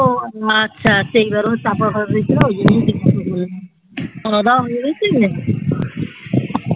আচ্ছা সেবার বোধ হয় চাপা হয়ে গিয়েছিল খাওয়া দাওয়া হয় গিয়েছে